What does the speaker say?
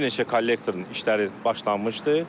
Bir neçə kollektorun işləri başlanmışdı.